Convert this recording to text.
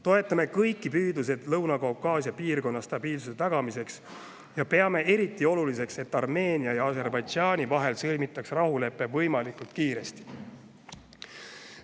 Toetame kõiki püüdluseid Lõuna-Kaukaasia piirkonna stabiilsuse tagamiseks ja peame eriti oluliseks, et Armeenia ja Aserbaidžaani vahel sõlmitaks rahulepe võimalikult kiiresti.